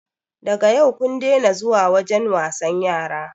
Daga yau kun dena zuwa wajen wasan yara